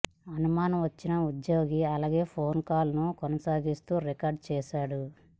అనుమానం వచ్చిన ఉద్యోగి అలాగే ఫోన్ కాల్ను కొనసాగిస్తూ రికార్డు చేశాడు